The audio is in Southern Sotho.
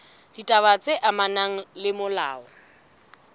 ditaba tse amanang le molao